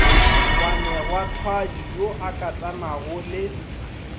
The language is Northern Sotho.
moanegwathwadi yo a katanago le